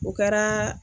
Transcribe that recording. O kɛra